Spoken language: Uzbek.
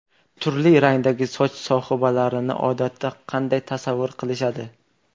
Turli rangdagi soch sohibalarini odatda qanday tasavvur qilishadi?.